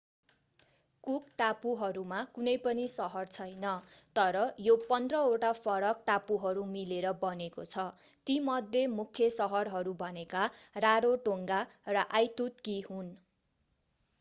cook टापुहरूमा कुनै पनि सहर छैन तर यो 15वटा फरक टापुहरू मिलेर बनेको छ तीमध्ये मुख्य सहरहरू भनेका रारोटोङ्गा र आइतुतकी हुन्